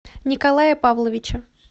николая павловича